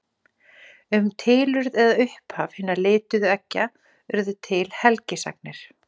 Um tilurð eða upphaf hinna lituðu eggja urðu til helgisagnir.